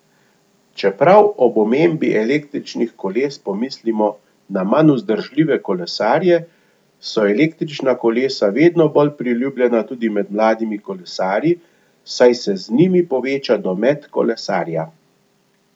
Čeprav ob omembi električnih koles pomislimo na manj vzdržljive kolesarje, so električna kolesa vedno bolj priljubljena tudi med mladimi kolesarji, saj se z njimi poveča domet kolesarja.